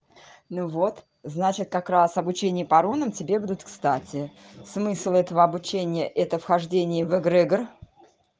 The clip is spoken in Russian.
ну вот значит как раз обучение по рунам тебе будут кстати смысл этого обучения это вхождение в эгрегор